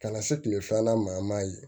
Ka na se kile filanan ma an m'a ye